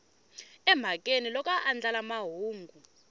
emhakeni loko a andlala mahungu